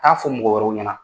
Taa fɔ mɔgɔ wɛrɛ ɲɛna